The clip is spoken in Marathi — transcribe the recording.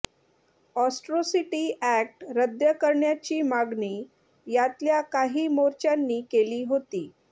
अॅट्रॉसिटी अॅक्ट रद्द करण्याची मागणी यातल्या काही मोर्च्यांनी केली होती